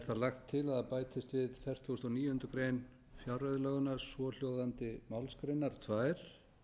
lagt til að það bætist við fertugasta og níundu grein fjárreiðulaganna svohljóðandi málsgreinar tvær